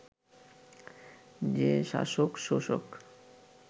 যে শাসক-শোষক